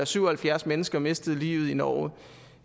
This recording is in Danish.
at syv og halvfjerds mennesker mistede livet i norge